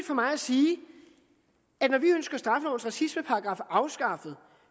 for mig at sige at når vi ønsker straffelovens racismeparagraf afskaffet